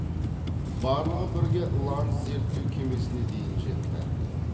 барлығы бірге ланс зерттеу кемесіне дейін жетті